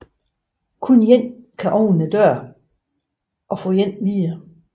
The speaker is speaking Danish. Kun én kan åbne døren og få én videre